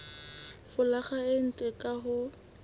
folaga e ntle ka ho